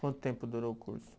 Quanto tempo durou o curso?